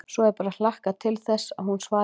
Svo er bara að hlakka til þess að hún svari honum.